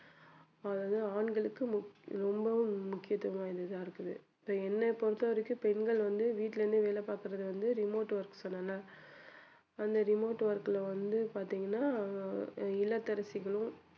அதாவது ஆண்களுக்கு முக்~ ரொம்பவும் முக்கியத்துவம் வாய்ந்ததா இருக்குது என்னை பொறுத்தவரைக்கும் பெண்கள் வந்து வீட்டுல இருந்தே வேலை பார்க்கிறது வந்து remote work சொன்னேன்ல அந்த remote work ல வந்து பாத்தீங்கன்னா ஆஹ் இல்லத்தரசிகளும்